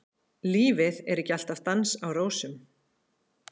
Lífið er ekki alltaf dans á rósum.